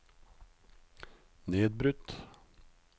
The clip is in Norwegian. nedbrutt